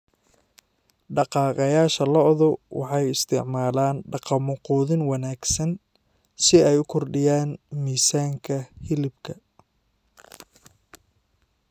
Dhaqaaqayaasha lo'du waxay isticmaalaan dhaqammo quudin wanaagsan si ay u kordhiyaan miisaanka hilibka.